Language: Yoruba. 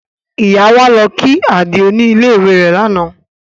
Ìyá wa lọ kí Àdìó ní ilé ìwé rẹ̀ ní àná